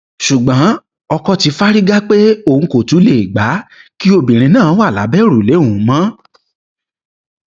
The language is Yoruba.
ṣùgbọn ọkọ ti fárígá pé òun kò tún lè gbà kí obìnrin náà wà lábẹ òrùlé òun mọ